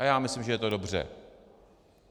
A já myslím, že je to dobře.